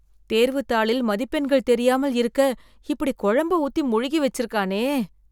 தேர்வுத்தாளில் மதிப்பெண்கள் தெரியாமல் இருக்க இப்படி குழம்ப ஊத்தி மொழுகி வச்சிருக்கானே